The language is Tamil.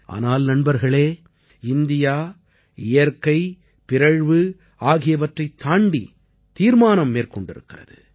ஆனால் நண்பர்களே இந்தியா இயற்கை பிறழ்வு ஆகியவற்றைத் தாண்டி தீர்மானம் மேற்கொண்டிருக்கிறது